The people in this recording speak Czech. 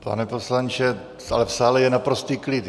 Pane poslanče, ale v sále je naprostý klid.